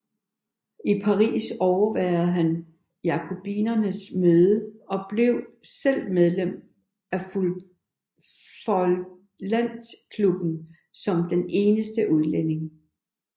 I Paris overværede han jakobinernes møde og blev selv medlem af feuillantklubben som den eneste udlænding